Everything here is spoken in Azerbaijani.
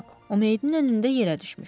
O meyidin önündə yerə düşmüşdü.